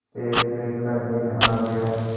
फैसले का दिन आ गया